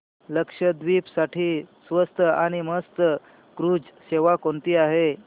लक्षद्वीप साठी स्वस्त आणि मस्त क्रुझ सेवा कोणती आहे